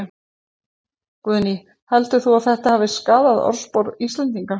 Guðný: Heldur þú að þetta hafi skaðað orðspor Íslendinga?